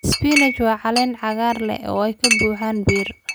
Spinach waa cagaar caleen ah oo ay ka buuxaan bir.